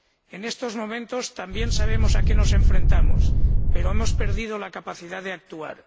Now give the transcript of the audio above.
En estos momentos también sabemos a qué nos enfrentamos, pero hemos perdido la capacidad de actuar.